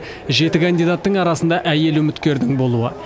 жеті кандидаттың арасында әйел үміткердің болуы